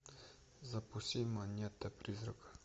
запусти монета призрака